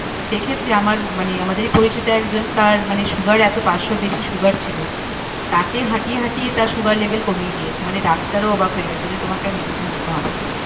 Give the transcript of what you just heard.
সে ক্ষেত্রে আমার মানে আমাদেরই পরিচিত একজন তার মানে সুগার এতো পাঁচশোর বেশি সুগার ছিল। তাকে হাঁটিয়ে হাঁটিয়ে তার সুগার level কমিয়ে দিয়েছে মানে ডাক্তারও অবাক হয়ে গেছে বলছে তোমাকে আর medicine নিতে হবে না।